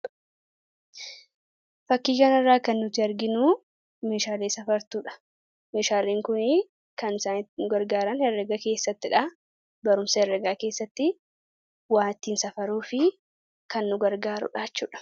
Fakkii kana irraa kan nuti arginu meeshaalee safartuudha. Meeshaaleen kun kan saayinsii keessatti nu gargaaran herragaa keessattidha. Barumsa herragaa keessatti wa ittiin safaruuf kan nu gargaarudha.